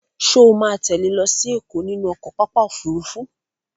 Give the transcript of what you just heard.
Ṣo ma tẹ́lẹ̀ lọ sí Ẹ̀kọ́ nínú pápá ọkọ̀ Òfurufú?